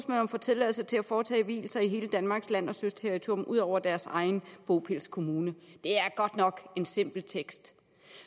får tilladelse til at foretage vielser i hele danmarks land og søterritorium ud over deres egen bopælskommune det er godt nok en simpel tekst